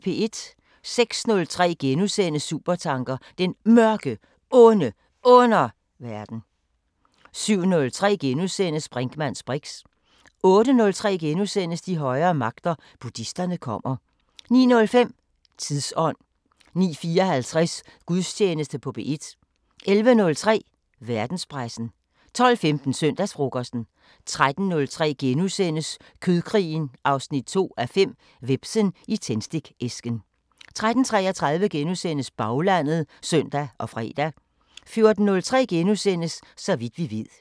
06:03: Supertanker: Den Mørke, Onde Underverden * 07:03: Brinkmanns briks * 08:03: De højere magter: Buddhisterne kommer * 09:05: Tidsånd 09:54: Gudstjeneste på P1 11:03: Verdenspressen 12:15: Søndagsfrokosten 13:03: Kødkrigen 2:5 – Hvepsen i tændstikæsken * 13:33: Baglandet *(søn og fre) 14:03: Så vidt vi ved *